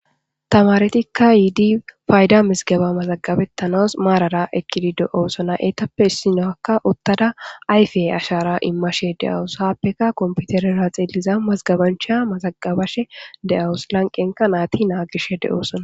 Tamaretika yiidi payda mizigeba mazagabetanawus marara eqidi de'osona, eetappe issiniyaka utada ayfe ashara imashe de'awus, haapeka computerera xeeliz mazagabanchaya mazagabashe de'awusi , lanqenka naati nagishe dosona.